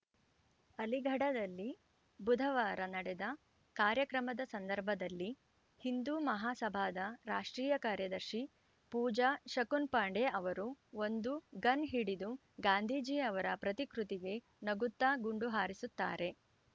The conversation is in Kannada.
ಅಲಿಗಢದಲ್ಲಿ ಬುಧವಾರ ನಡೆದ ಕಾರ್ಯಕ್ರಮದ ಸಂದರ್ಭದಲ್ಲಿ ಹಿಂದೂ ಮಹಾಸಭಾದ ರಾಷ್ಟ್ರೀಯ ಕಾರ್ಯದರ್ಶಿ ಪೂಜಾ ಶಕುನ್‌ ಪಾಂಡೆ ಅವರು ಒಂದು ಗನ್‌ ಹಿಡಿದು ಗಾಂಧೀಜಿ ಅವರ ಪ್ರತಿಕೃತಿಗೆ ನಗುತ್ತಾ ಗುಂಡು ಹಾರಿಸುತ್ತಾರೆ